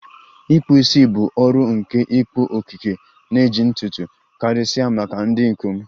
ikpụ isi bụ ọrụ nke ịkpụ, okike, na ejiji ntutu, karịsịa maka ndị ikom.